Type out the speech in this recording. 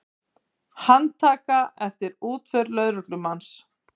Handtaka eftir útför lögreglumanns